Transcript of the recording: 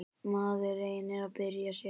Maður reynir að bjarga sér.